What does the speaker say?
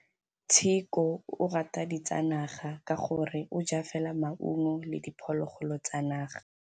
Tshekô o rata ditsanaga ka gore o ja fela maungo le diphologolo tsa naga.